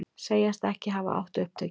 Segjast ekki hafa átt upptökin